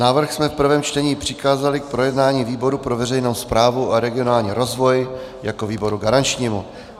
Návrh jsme v prvém čtení přikázali k projednání výboru pro veřejnou správu a regionální rozvoj jako výboru garančnímu.